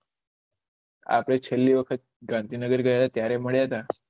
આપળે છેલી વખત ગાંધીનગર ગયા ત્યારે મડ્યા થા